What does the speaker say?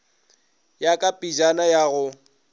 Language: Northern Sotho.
ya ka pejana ya go